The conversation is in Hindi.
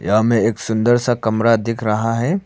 यहां में एक सुंदर सा कमरा दिख रहा है।